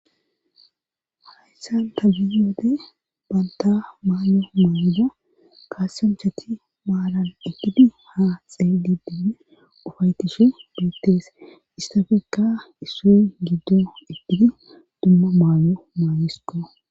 Haysan ta biyode banta maayo maayoya kasinchati maalan ekidi ha xeedi dibdi ufaytishe beettees issafekka issoy giddo egidi dumma maayo maayisko